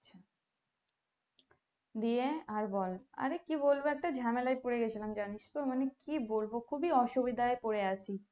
দিয়ে আর বল আরে কি বলবো একটা ঝামেলায় পরে গেছিলাম জানিস তো মানে কি বলবো খুবই অসুবিধাই পরে আছি